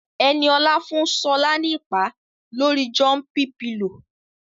Ẹniolá fún Ṣọlá ní ìpá lórii jọ́ḿpí pilò